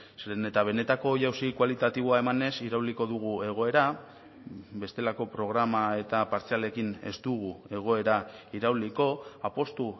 zeren eta benetako jauzi kualitatiboa emanez irauliko dugu egoera bestelako programa eta partzialekin ez dugu egoera irauliko apustu